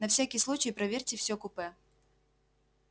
на всякий случай проверьте всё купе